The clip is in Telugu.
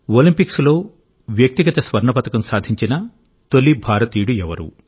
ఒలింపిక్స్లో వ్యక్తిగత స్వర్ణ పతకం సాధించిన తొలి భారతీయుడు ఎవరు